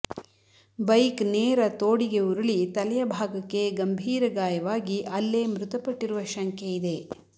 bike ನೇರ ತೋಡಿಗೆ ಉರುಳಿ ತಲೆಯ ಭಾಗಕ್ಕೆ ಗಂಭೀರ ಗಾಯವಾಗಿ ಅಲ್ಲೇ ಮೃತಪಟ್ಟಿರುವ ಶಂಕೆ ಇದೆ